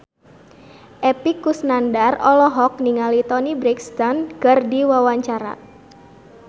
Epy Kusnandar olohok ningali Toni Brexton keur diwawancara